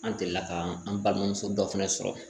An delila ka an balimamuso dɔ fɛnɛ sɔrɔ